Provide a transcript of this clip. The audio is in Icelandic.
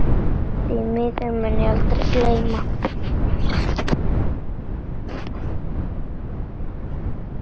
Því mun ég aldrei gleyma.